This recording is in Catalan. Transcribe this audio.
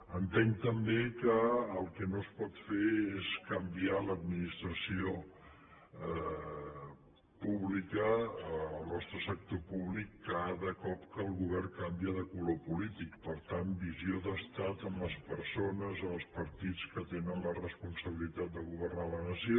entenc també que el que no es pot fer és canviar l’administració pública el nostre sector públic cada cop que el govern canvia de color polític per tant visió d’estat en les persones en els partits que tenen la responsabilitat de governar la nació